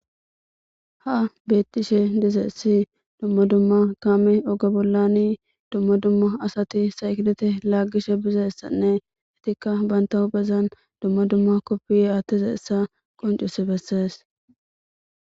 ha beettishe dizeessi dumma dumma kaame oga bollani dumma dumma asati saykidete laaggishe bizessanne itikka banta huphezan dumma dumma koppiye atteze essa qoncusi bessees